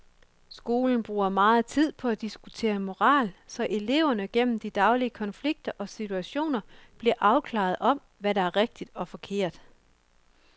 Skolen bruger meget tid på at diskutere moral, så eleverne gennem de daglige konflikter og situationer bliver afklaret om, hvad der er rigtigt og forkert.